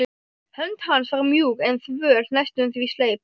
Hönd hans var mjúk en þvöl, næstum því sleip.